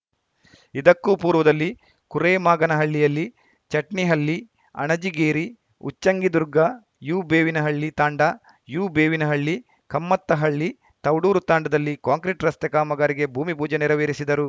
ಇದಕ್ಕೂ ಪೂರ್ವದಲ್ಲಿ ಕುರೇಮಾಗನಹಳ್ಳಿಯಲ್ಲಿ ಚಟ್ನಿಹಳ್ಳಿ ಅಣಜಿಗೇರಿ ಉಚ್ಚಂಗಿದುರ್ಗ ಯುಬೇವಿನಹಳ್ಳಿ ತಾಂಡ ಯುಬೇವಿನಹಳ್ಳಿ ಕಮ್ಮತ್ತಹಳ್ಳಿ ತೌಡೂರು ತಾಂಡದಲ್ಲಿ ಕಾಂಕ್ರಿಟ್‌ ರಸ್ತೆ ಕಾಮಗಾರಿಗೆ ಭೂಮಿ ಪೂಜೆ ನೆರವೇರಿಸಿದರು